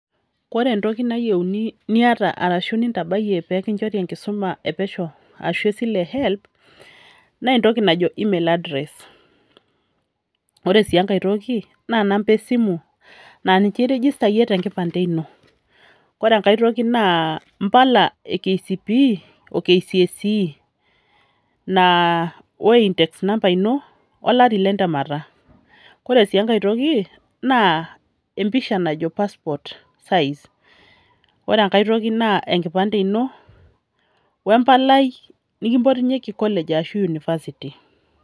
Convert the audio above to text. Kore entoki nayieuni niata arashu nintabayie pekinchori enkisuma epesho ashu esile e Helb, nentoki najo email address. Ore si enkae toki, na namba esimu, na ninche irijistayie tenkipande ino. Ore enkae toki naa impala e KCPE,o KCSE, naa o index number ino, olari lentemata. Ore si enkae toki, naa empisha najo passport size. Ore enkae toki naa enkipande ino, wempalai nikimpotunyeki college arashu University.